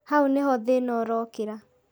Hau nĩho thĩna ũrokĩra